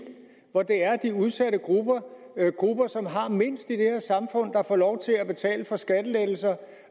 hvor de udsatte grupper grupper som har mindst i det her samfund får lov til at betale for skattelettelser og